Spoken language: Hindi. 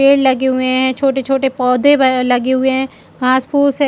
पेड़ लगे हुए है छोटे-छोटे पौधे ब अ लगे हुए है। घास-पूस है।